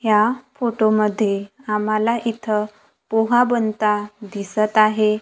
ह्या फोटोमध्ये आम्हाला इथं पोहा बनता दिसत आहे.